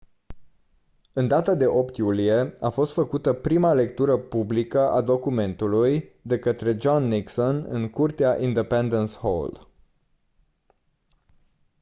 în data de 8 iulie a fost făcută prima lectură publică a documentului de către john nixon în curtea independence hall